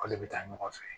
K'ale bɛ taa ɲɔgɔn fɛ